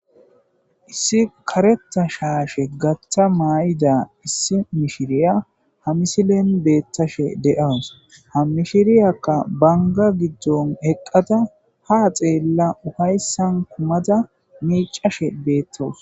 Issi kareththa dhdhashe gaththa beyida mishiraya ha misileni betashshe deasu ha mishshiriyakka banigga giddoni eqada ha xeela upayisani kumada miccashshe betawusi